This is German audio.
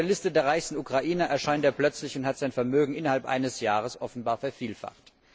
Auf der Liste der reichsten Ukrainer erscheint er plötzlich und hat sein Vermögen innerhalb eines Jahres offenbar vervielfacht.